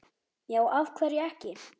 Já, af hverju ekki?